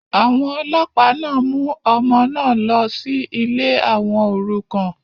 àwọn ọlọ́ọ̀pá náà mú ọmọ náà lọ sí ilé àwọn òrukàn